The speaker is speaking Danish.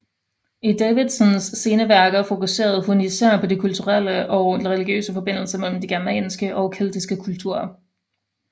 I Davidsons sene værker fokuserede hun især på de kulturelle og religiøse forbindelser mellem de germanske og keltiske kulturer